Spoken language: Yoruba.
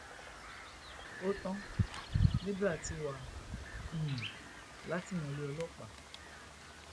ó tán libre ti wà um látìmọlẹ ọlọpàá